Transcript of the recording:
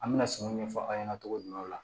An bɛna sumanw ɲɛfɔ aw ɲɛna togo minnaw la